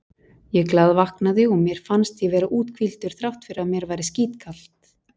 Ég glaðvaknaði og mér fannst ég vera úthvíldur þrátt fyrir að mér væri skítkalt.